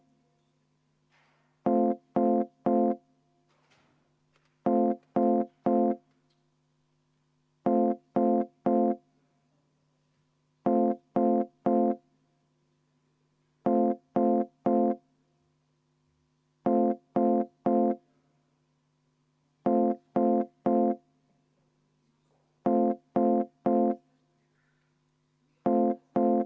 Kusjuures nemad saavad saali poolt vaheaja võtta enne hääletamist.